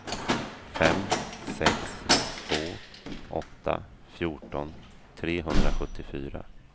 fem sex två åtta fjorton trehundrasjuttiofyra